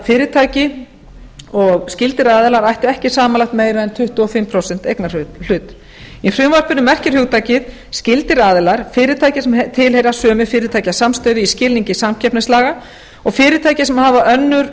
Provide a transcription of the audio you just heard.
fyrirtæki og skyldir aðilar ættu ekki samanlagt meira en tuttugu og fimm prósent eignarhlut í frumvarpinu merkir hugtakið skyldir aðilar fyrirtæki sem tilheyra sömu fyrirtækjasamstæðu í skilningi samkeppnislaga og fyrirtæki sem hafa önnur